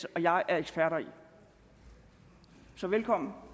og jeg er eksperter i så velkommen